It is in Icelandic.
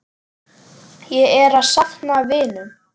Ég er að safna vinum.